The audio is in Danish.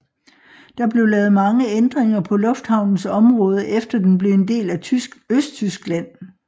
Der blev lavet mange ændringer på lufthavnens område efter den blev en del af Østtyskland